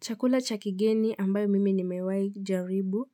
Chakula cha kigeni ambayo mimi nimewai jaribu